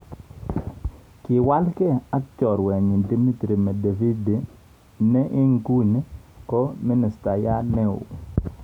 Kiwalge ak chorwenyin Dmitry Medvedev ne eng iguni ko minostayat neo.